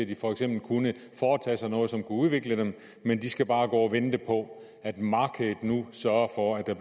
de for eksempel kunne foretage sig noget som kunne udvikle dem men de skal bare gå og vente på at markedet nu sørger for at der